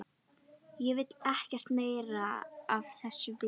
Ég vil ekkert meira af þessu vita.